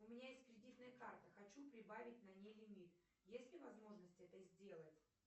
у меня есть кредитная карта хочу прибавить на ней лимит есть ли возможность это сделать